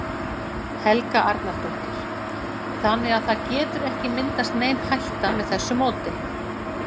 Helga Arnardóttir: Þannig að það getur ekki myndast nein hætta með þessu móti?